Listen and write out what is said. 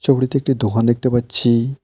ছবিটিতে একটি দোকান দেখতে পাচ্ছি।